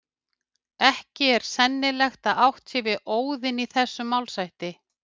Ekki er sennilegt að átt sé við Óðin í þessum málshætti.